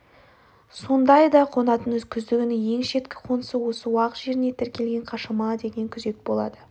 сондайда қонатын күздігүнгі ең шеткі қонысы осы уақ жеріне тіркелген қашама деген күзек болады